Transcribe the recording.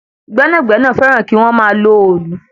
Gbẹ̀nágbẹ̀nà fẹràn kí wọ́n máa lọ òòlù.